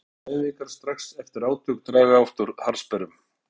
Teygjur og léttar æfingar strax eftir átök draga oft úr harðsperrum.